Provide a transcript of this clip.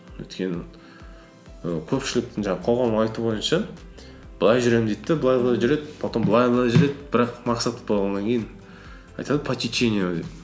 өйткені і көпшіліктің жаңағы қоғамның айтуы бойынша былай жүремін дейді де былай былай жүреді потом былай былай жүреді бірақ мақсат бітіп қалғаннан кейін айтады по течению